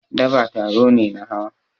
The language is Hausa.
Daba taro ne na hawa.